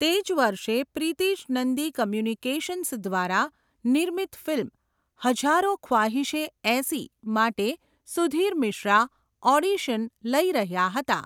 તે જ વર્ષે પ્રિતિશ નંદી કોમ્યુનિકાશન્સ દ્વારા નિર્મિત ફિલ્મ 'હજારો ખ્વાહીશે ઐસી' માટે સુધીર મિશ્રા ઓડિશન લઈ રહ્યા હતા.